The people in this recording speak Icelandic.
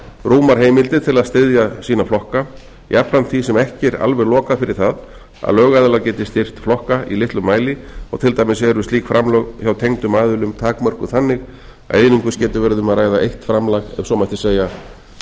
rúmar heimildir til að styðja sína flokka jafnframt því sem ekki er alveg lokað fyrir það að lögaðilar geti styrkt flokka í litlum mæli og til dæmis eru slík framlög hjá tengdum aðilum takmörkuð þannig að einungis getur verið um að ræða eitt framlag ef svo mætti segja